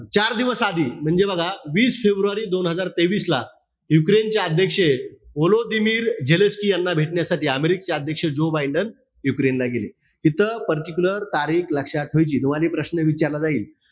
चार दिवस आधी म्हणजे बघा, वीस फेब्रुवारी दोन हजार तेवीस ला, युक्रेन चे अध्यक्ष वोलोदिमीर झेलेन्स्की यांना भेटण्यासाठी, अमेरिकेचे अध्यक्ष जो बायडेन युक्रेनला गेले. इथं particular तारीख लक्षात ठेवायची. तुम्हाला हे प्रश्न विचारला जाईल.